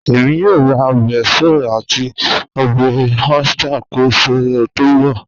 Ẹ̀mí yóò rá obè soy àti obè oyster kọ́ ọ̀sẹ̀ tó nbọ̀.